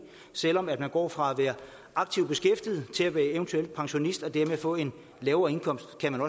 selv om man går fra at være aktiv beskæftiget til at være eventuel pensionist og dermed får en lavere indkomst kan